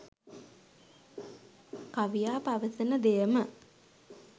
කවියා පවසන දෙයම